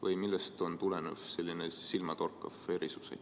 Või millest tuleneb selline silmatorkav erisus?